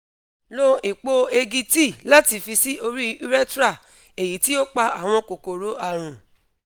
lo epo egi tea lati fi si ori urethra eyiti o pa awọn kokoro arun